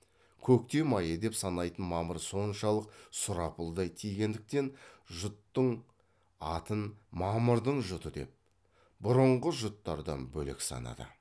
көктем айы деп санайтын мамыр соншалық сұрапылдай тигендіктен жұттың атын мамырдың жұты деп бұрынғы жұттардан бөлек санады